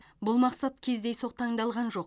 бұл мақсат кездейсоқ таңдалған жоқ